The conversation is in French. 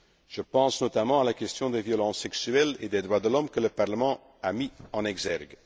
jour. Je pense notamment à la question des violences sexuelles et des droits de l'homme que le Parlement a mise en exergue.